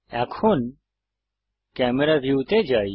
এখন camera view তে যাই